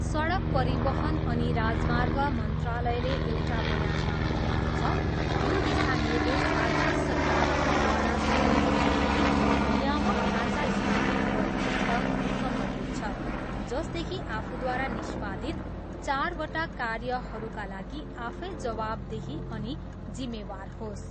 सडक परिवहन अनि राजर्माग मन्त्रालयले एउटा बयानमा भनेको छ, यो दिशानिर्देश राज्य सरकारहरूद्वारा समूहका लागि नियामक ढाँचा स्थापित गर्नसित सम्बन्धित छ, जसदेखि आफूद्वारा निष्पादित चारवटा कार्यहरूका लागि आफै जवाबदेही अनि जिम्मेदार होस्।